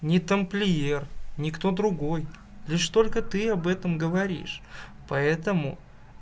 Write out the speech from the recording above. не тамплиер никто другой лишь только ты об этом говоришь поэтому